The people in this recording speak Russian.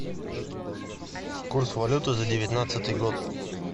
курс валюты за девятнадцатый год